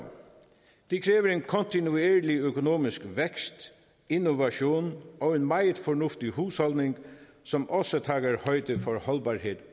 det kræver en kontinuerlig økonomisk vækst innovation og en meget fornuftig husholdning som også tager højde for holdbarheden